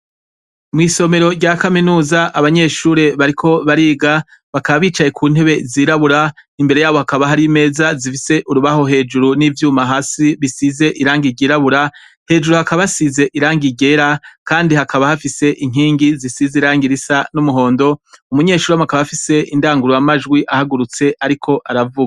Mwisomero rya kaminuza abanyeshure bariko bariga bakaba bicaye kuntebe zirabura imbere yabo haka hari imeza zifise urubaho hejuru nivyuma hasi bisize irangi ryirabura hejuru hakaba hasize irangi ryera kandi hakaba hafise inkigi zirangi zisa numuhondo umunyeshure akaba afise indangura majwi akaba ariko aravuga